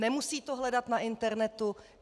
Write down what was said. Nemusí to hledat na internetu.